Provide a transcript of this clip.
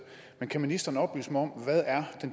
men kan ministeren oplyse mig om hvad der er